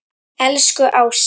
Elsku Ása.